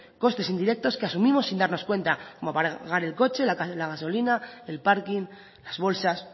costes indirectos que asumimos sin darnos cuenta como pagar el coche la gasolina el parking las bolsas